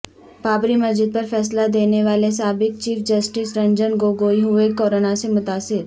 بابری مسجد پر فیصلہ دینے والے سابق چیف جسٹس رنجن گوگوئی ہوئے کورونا سے متاثر